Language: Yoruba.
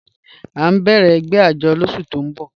A n bẹ̀rẹ̀ ègbẹ̀ àjọ́ lọ́sù tó n bọ̀